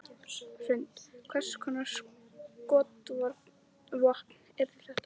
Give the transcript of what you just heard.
Hrund: Hvers konar skotvopn yrðu það?